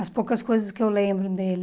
As poucas coisas que eu lembro dele.